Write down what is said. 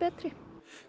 betri